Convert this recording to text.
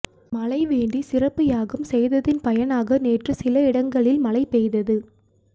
மழை வேண்டி சிறப்பு யாகம் செய்ததின் பயனாக நேற்று சில இடங்களில் மழை பெய்தது